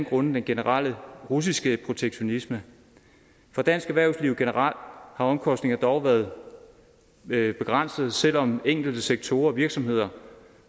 grundet den generelle russiske protektionisme for dansk erhvervsliv generelt har omkostningerne dog været begrænsede selv om enkelte sektorer og virksomheder